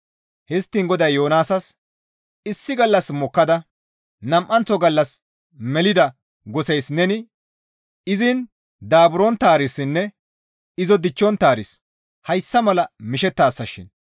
Histtiin GODAY Yoonaasas, «Issi gallas mokkada, nam7anththo gallas melida goseys neni izin daaburonttaarissinne izo dichchonttaaris hayssa mala mishettaasashin,